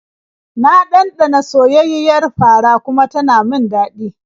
Na ɗanɗana soyayyiyar fara kuma ta min daɗi.